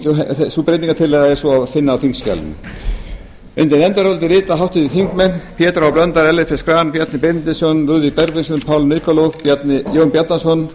að lútandi og þá breytingartillögu er svo að finna á þingskjalinu undir nefndarálitið rita háttvirtir þingmenn pétur h blöndal ellert b schram bjarni benediktsson lúðvík bergvinsson paul nikolov jón bjarnason